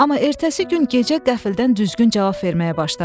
Amma ertəsi gün gecə qəfildən düzgün cavab verməyə başladı.